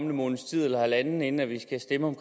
måneds tid eller halvanden inden vi skal stemme om